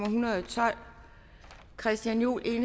en hundrede og tolv christian juhl